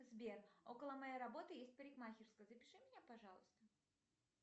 сбер около моей работы есть парикмахерская запиши меня пожалуйста